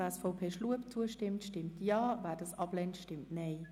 Wer diese annimmt, stimmt Ja, wer diese ablehnt, stimmt sein